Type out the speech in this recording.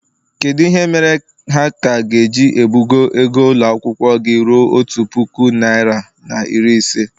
kedu ihe mere ha ka ga-eji ebugo ego ụlọ akwụkwọ gị ruo otu puku naịra na iri ise?